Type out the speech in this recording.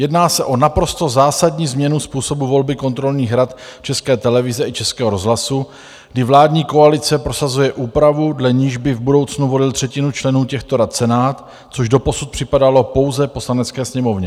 Jedná se o naprosto zásadní změnu způsobu volby kontrolních rad České televize i Českého rozhlasu, kdy vládní koalice prosazuje úpravu, dle níž by v budoucnu volil třetinu členů těchto rad Senát, což doposud připadalo pouze Poslanecké sněmovně.